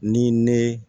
Ni ne